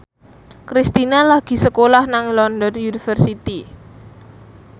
Kristina lagi sekolah nang London University